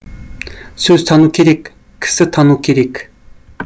сөз тану керек кісі тану керек